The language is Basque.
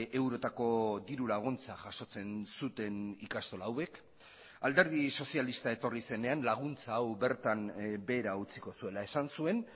eurotako dirulaguntza jasotzen zuten ikastola hauek alderdi sozialista etorri zenean laguntza hau bertan behera utziko zuela esan zuen